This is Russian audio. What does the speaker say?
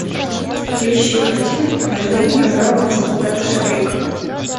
поищи картину похождения бравого солдата швейка